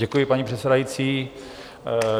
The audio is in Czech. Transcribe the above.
Děkuji, paní předsedající.